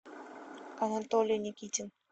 анатолий никитин